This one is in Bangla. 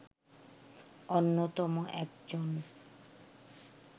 অন্যতম একজন